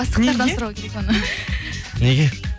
бастықтардан сұрау керек оны неге